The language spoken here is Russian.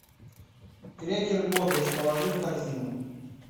крекер бодрость положи в корзину